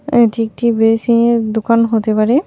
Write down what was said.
এটি একটি বেসিনের দোকান হতে পারে.